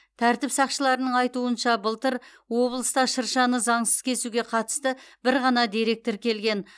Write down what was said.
тәртіп сақшыларының айтуынша былтыр облыста шыршаны заңсыз кесуге қатысты бір ғана дерек тіркелген